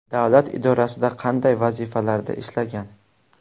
Davlat idorasida qanday vazifalarda ishlagan?